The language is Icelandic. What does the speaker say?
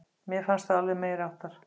Mér fannst það alveg meiriháttar!